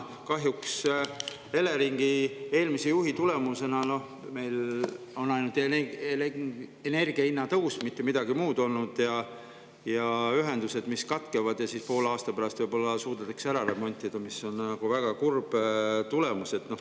Kahjuks on Eleringi eelmise juhi tulemusena olnud ainult energiahindade tõus, mitte midagi muud, ja ka ühendused katkevad, alles poole aasta pärast võib-olla suudetakse need ära remontida, mis on väga kurb tulemus.